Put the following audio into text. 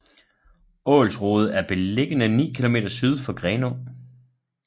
Ålsrode er beliggende ni kilometer syd for Grenaa